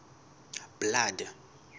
blood